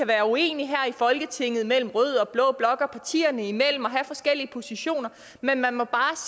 være uenighed her i folketinget mellem rød og blå blok og partierne imellem og have forskellige positioner men man må bare